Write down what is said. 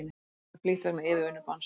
Flugferðum flýtt vegna yfirvinnubanns